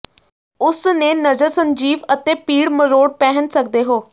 ਉਸ ਨੇ ਨਜ਼ਰ ਸੰਜੀਵ ਅਤੇ ਪੀੜ ਮਰੋੜ ਪਹਿਨ ਸਕਦੇ ਹੋ